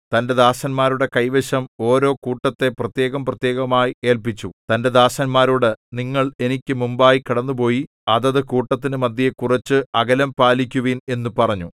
തന്റെ ദാസന്മാരുടെ കൈവശം ഓരോ കൂട്ടത്തെ പ്രത്യേകം പ്രത്യേകമായി ഏല്പിച്ചു തന്റെ ദാസന്മാരോട് നിങ്ങൾ എനിക്ക് മുമ്പായി കടന്നുപോയി അതത് കൂട്ടത്തിനു മദ്ധ്യേ കുറച്ച് അകലം പാലിക്കുവിൻ എന്നു പറഞ്ഞു